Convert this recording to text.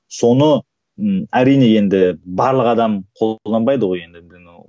соны ы әрине енді барлық адам қолданбайды ғой енді